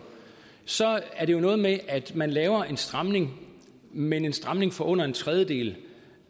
er det jo noget med at man laver en stramning men en stramning for under en tredjedel